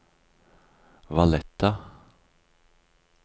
Valletta